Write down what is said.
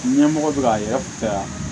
Ɲɛmɔgɔ bɛ ka yɛrɛ fɛ yan